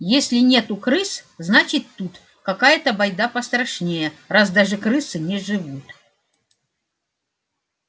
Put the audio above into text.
если нету крыс значит тут какая-то байда пострашнее раз даже крысы не живут